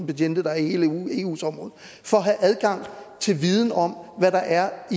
betjente der er i hele eus område for at have adgang til viden om hvad der er